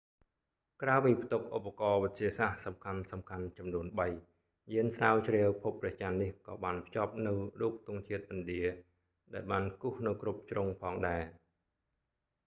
ក្រៅពីផ្ទុកឧបករណ៍វិទ្យាសាស្ត្រសំខាន់ៗចំនួនបី យានស្រាវជ្រាវភពព្រះចន្ទនេះក៏បានភ្ជាប់នូវរូបទង់ជាតិឥណ្ឌា ដែលបានគូសនៅគ្រប់ជ្រុងផងដែរ